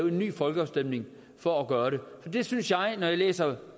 en ny folkeafstemning for at gøre det og det synes jeg når jeg læser